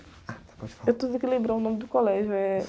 Ah, tá, pode falar.u estou tentando lembrar o nome do colégio. Eh...